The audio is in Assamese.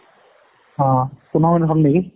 অ, পোন্ধৰ minute হল নেকি?